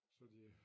Så de øh